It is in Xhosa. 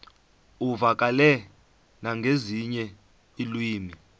uvakale nangezinye iilwimi